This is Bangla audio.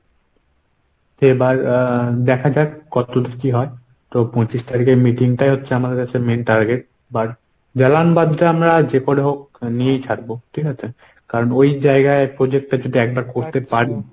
এবার আহ দেখা যাক কতদূর কী হয়। তো পঁচিশ তারিখের meeting টাই হচ্ছে আমাদের main কাছে target এবার জালানবাদটা আমরা যে করে হোক নিয়েই ছাড়বো। ঠিকাছে? কারণ ওই জায়গায় project টা যদি একবার করতে পারি